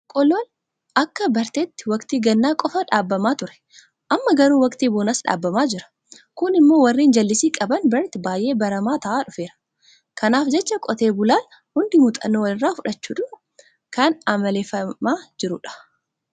Boqqoolloon akka barteetti waktii gannaa qofa dhaabamaa ture. Amma garuu waktii bonaas dhaabamaa jira. Kun immoo warreen jallisii qaban biratti baay'ee baramaa ta'aa dhufeera. Kanaaf jecha qotee bulaa hundi muuxxannoo walirraa fudhachuudhaan kan amaleeffachaa jira.